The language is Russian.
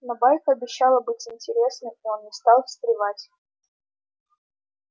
но байка обещала быть интересной и он не стал встревать